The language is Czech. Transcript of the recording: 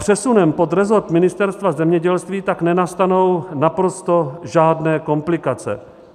Přesunem pod resort Ministerstva zemědělství tak nenastanou naprosto žádné komplikace.